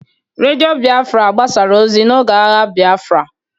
Radio Biafra gbasara ozi n'oge agha Biafra